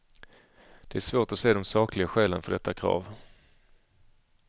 Det är svårt att se de sakliga skälen för detta krav.